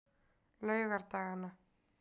laugardaganna